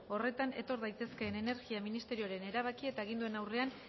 horretan etor daitezkeen energia ministerioaren erabaki eta aginduen aurrean